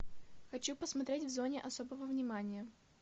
хочу посмотреть в зоне особого внимания